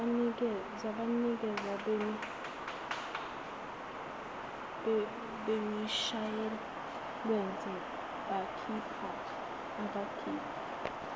zabanikazi bemishuwalense abakhipha